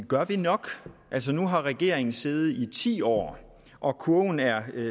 gør vi nok altså nu har regeringen siddet i ti år og kurven er